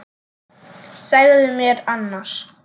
Segðu mér annars.